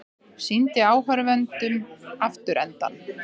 Sýndi áhorfendum afturendann